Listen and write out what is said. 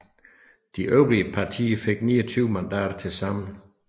De øvrige partier fik 29 mandater til sammen